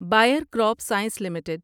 buyer crop science limited